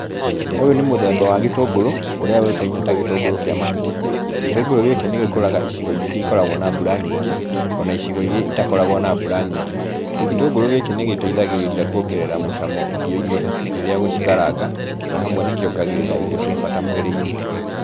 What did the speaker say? Ũyũ nĩ mũthemba wa gĩtũngũrũ, ũrĩa ũĩkaine ta gĩtũngũrũ kĩa mahuti. Gĩtũngũrũ gĩkĩ nĩ gĩkũraga icigo-inĩ iria ikoragwo na mbura nyingĩ, o na icigo iria itakoragwo na mbura nyingĩ. Gĩtũngũrũ gĩkĩ nĩ gĩteithagĩrĩria kuongerera mũcamo irio-inĩ rĩrĩa ũgũcikaranga, na hamwe nĩ kĩongagĩrĩra indo cia bata mwĩrĩ-inĩ.